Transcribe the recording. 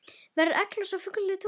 Verður egglos á fullu tungli?